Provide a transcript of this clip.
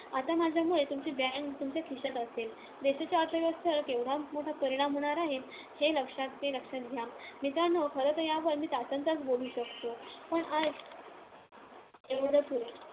आता माझ्यामुळे तुमची bank तुमच्या खिशात असेल. देशाच्या अर्थव्यवस्थेवर केवढा मोठा परिणाम होणार आहे, ते लक्षात घ्या. मित्रांनो, खरं तर यावर मी तासन्‌तास बोलू शकतो. पण आज एवढं पुरे?